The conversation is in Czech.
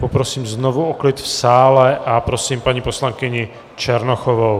Poprosím znovu o klid v sále a prosím paní poslankyni Černochovou.